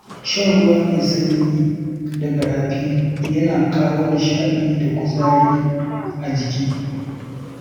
Shan ruwa mai sanyi daga rafi yana kawo nishaɗi da kuzari a jiki.